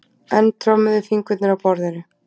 Enn trommuðu fingurnir á borðinu.